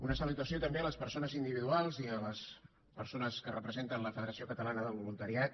una salutació també a les persones individuals i a les persones que representen la federació catalana del voluntariat